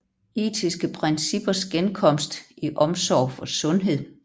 Etiske princippers genkomst i omsorg for sundhed